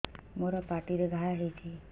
ମୋର ପାଟିରେ ଘା ହେଇଚି